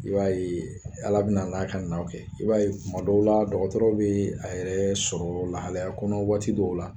I b'a ye Ala bɛna n'a ka naw kɛ i b'a ye dɔw la dɔgɔtɔrɔ bɛ a yɛrɛ sɔrɔ lahalaya kɔnɔ waati dɔw la